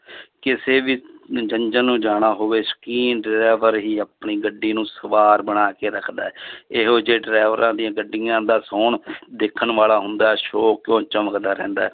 ਕਿਸੇ ਵੀ ਨੂੰ ਜਾਣਾ ਹੋਵੇ ਸ਼ੌਕੀਨ driver ਹੀ ਆਪਣੀ ਗੱਡੀ ਨੂੰ ਸਵਾਰ ਬਣਾ ਕੇ ਰੱਖਦਾ ਹੈ ਇਹੋ ਜਿਹੇ ਡਰਾਈਵਰਾਂ ਦੀਆਂ ਗੱਡੀਆਂ ਦਾ ਸੋਹਣ ਦੇਖਣ ਵਾਲਾ ਹੁੰਦਾ ਹੈ ਚਮਕਦਾ ਰਹਿੰਦਾ ਹੈ